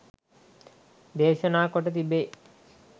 දේශනා කොට තිබේ.